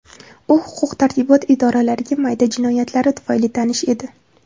U huquq-tartibot idoralariga mayda jinoyatlari tufayli tanish edi.